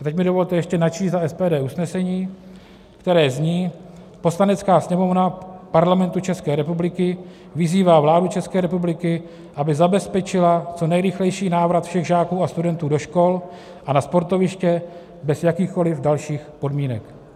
A teď mi dovolte ještě načíst za SPD usnesení, které zní: "Poslanecká sněmovna Parlamentu České republiky vyzývá vládu České republiky, aby zabezpečila co nejrychlejší návrat všech žáků a studentů do škol a na sportoviště bez jakýchkoliv dalších podmínek."